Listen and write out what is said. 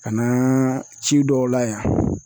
Ka na ci dɔw la yan